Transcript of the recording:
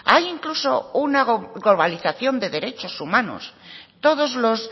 hay incluso una globalización de derechos humanos todos los